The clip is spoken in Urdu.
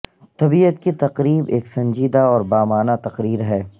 طبیعت کی تقریب ایک سنجیدہ اور بامعنی تقریر ہے